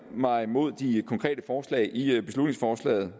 mig mod de konkrete forslag i beslutningsforslaget